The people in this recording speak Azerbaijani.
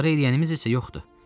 İdarə eləyənimiz isə yoxdur.